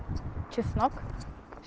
чеснок